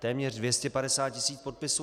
Téměř 250 tisíc podpisů.